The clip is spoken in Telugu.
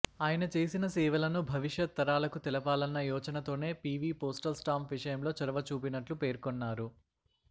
ఆయన చేసిన సేవలను భవిష్యత్ తరాలకు తెలపాలన్న యోచనతోనే పీవీ పోస్టల్ స్టాంప్ విషయంలో చొరవ చూపినట్లు పేర్కొన్నారు